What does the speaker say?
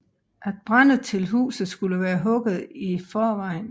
Alt brænde til huset skulle være hugget i forvejen